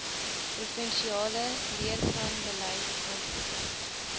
provinsiale leerplanbeleid handboeke